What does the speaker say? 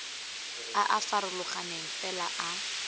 a a farologaneng fela a